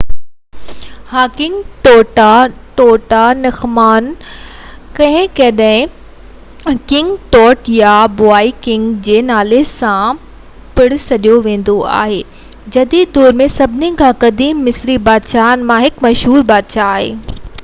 ها King Tutankhamun ڪڏهن ڪڏهن ڪنگ ٽوٽ يا بوائي ڪنگ جي نالي سان پڻ سڏيو ويندو آهي جديد دور ۾ سڀني کان قديم مصري بادشاهن مان هڪ مشهور بادشاهه آهي